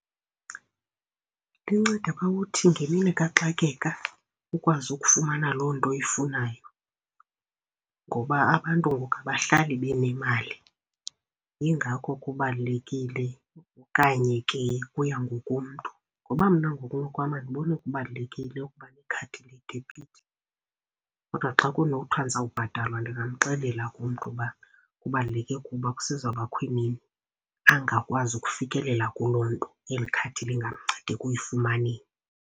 Linceda phaa kuthi ngemini kaxakeka ukwazi ukufumana loo nto uyifunayo ngoba abantu abahlali benemali. Yingakho kubalulekile okanye ke kuya ngokomntu ngoba mna ngokunokwam, andiboni kubalulekile ukuba nekhadi le debit. Kodwa xa kunothiwa ndizawubhatalwa ndingamxelela umntu uba kubaluleke kuba kusezawubakho bakho imini angakwazi ukufikelela kuloo nto, eli khadi lingamnceda ekuyifumaneni.